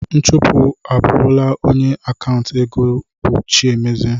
Nchụpụ abụrụla onye akanta ego bụ Chiemezie.